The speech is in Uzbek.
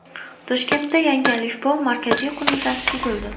Toshkentda Yangi alifbo markaziy qo‘mitasi tuzildi.